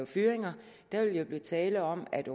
fyringer der vil jo blive tale om at